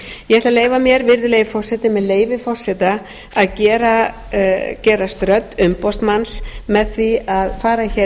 ég ætla að leyfa mér virðulegi forseti með leyfi forseta að gerast rödd umboðsmanns með því að fara hér